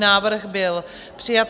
Návrh byl přijat.